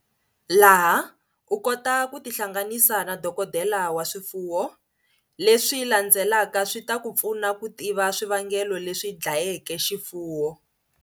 Laha u kotaka ku tihlanganisa na dokodela wa swifuwo, leswi landzelaka swi ta ku pfuna ku tiva swivangelo leswi dlayeke xifuwo.